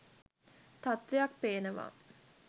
තත්ත්වයක් පේනවා.